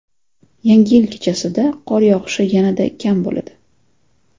Yangi yil kechasida qor yog‘ishi yanada kam bo‘ladi.